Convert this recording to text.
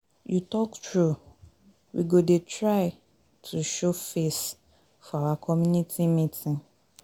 You talk true. We go dey try to show face for our community meeting.